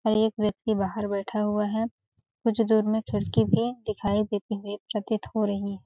और एक व्यक्ति बाहर बैठा हुआ है कुछ दूर में खिड़की भी दिखाई देती हुई प्रतीत हो रही है।